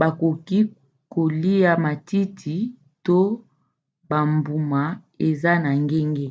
bakoki kolia matiti to bambuma eza na ngenge